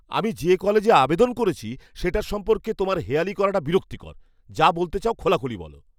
আমি যে কলেজে আবেদন করেছি সেটার সম্পর্কে তোমার হেঁয়ালি করাটা বিরক্তিকর। যা বলতে চাও খোলাখুলি বলো।